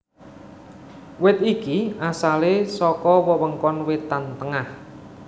Wit iki asalé saka wewengkon wétan tengah